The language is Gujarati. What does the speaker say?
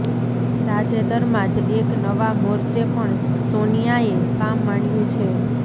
તાજેતરમાં જ એક નવા મોરચે પણ સોનિયાએ કામ માંડ્યું છે